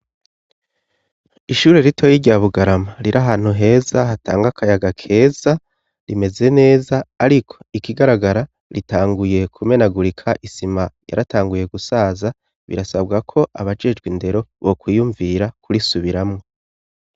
Ishure ritoya rya Bugarama riri ahantu heza hatanga akayaga keza rimeze neza ariko ikigaragara ritanguye kumenagurika isima yaratanguye gusaza birasabwa ko abajejwe indero bokwiyumvira kurisubiramo.